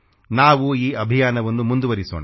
ನಾವು ಈ ಅಭಿಯಾನವನ್ನು ಮುಂದುವರಿಸೋಣ